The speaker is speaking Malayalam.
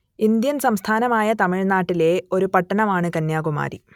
ഇന്ത്യൻ സംസ്ഥാനമായ തമിഴ്നാട്ടിലെ ഒരു പട്ടണമാണ് കന്യാകുമാരി